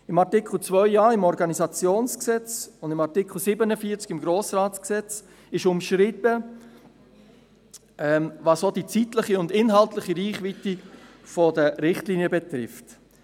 Im Artikel 2a des Organisationsgesetzes (OrG) und im Artikel 74 des Gesetzes über den Grossen Rat (Grossratsgesetz, GRG) ist umschrieben, was auch die zeitliche und inhaltliche Reichweite der Richtlinien betrifft.